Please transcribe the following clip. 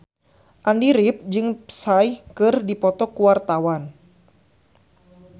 Andy rif jeung Psy keur dipoto ku wartawan